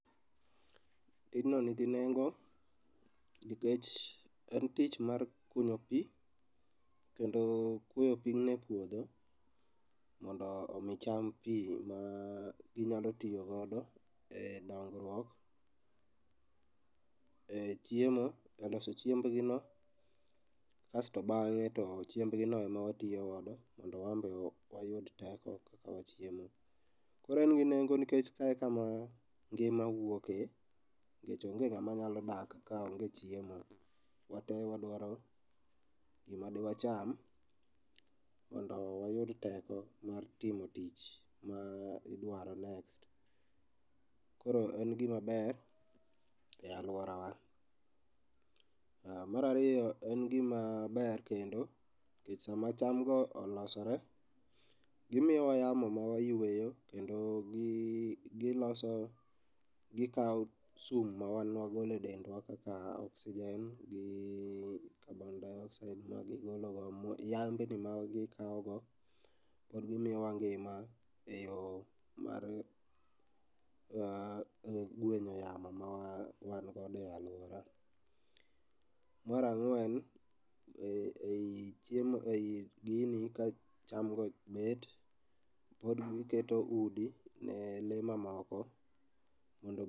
Tijno nigi nenge nikech en tich mar kunyo pi, kendo kunyo pigni e puodho mondo omi cham pi ma ginyalo tiyogodo e dongruok, e chiemo, e loso chiembgi no. Kasto bang'e to chiembgi no ema watiyogodo mondo wambe wayud teko kaka wachiemo. Koro en gi nengo nikech kae e kama ngima wuoke, nikech onge ng'ama nyalo dak kaonge chiemo. Wate wadwaro gima de wacham mondo wayud teko mar timo tich ma idwaro next. Koro en gima ber e alworawa. Marariyo, en gima ber kendo, nikech sama chamgo olosore, gimiyowa yamo mawayweyo kendo giloso, gikawo sum ma wan wagole dendwa kaka oksijen gi kabon dayoksaid ma gigolo go ma yan bende ma gikawogo pod gimiyowa ngima e yo mar ah, gwenyo yamo mawangodo e alwora. Marang'wen, ei chiemo, ei gini ka chamgo bet, pod giketo udi ne le mamoko, mondo.